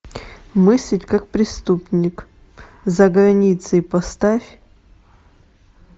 мыслить как преступник за границей поставь